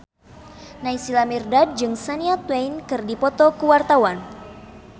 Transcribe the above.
Naysila Mirdad jeung Shania Twain keur dipoto ku wartawan